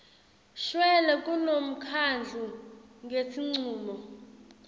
shwele kulomkhandlu ngesincumo